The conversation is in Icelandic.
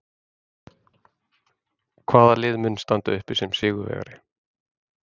Hvaða lið mun standa uppi sem sigurvegari?